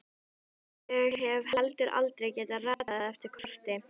Ég hef heldur aldrei getað ratað eftir korti.